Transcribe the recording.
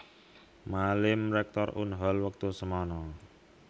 Malim Rektor Unhol wektu semana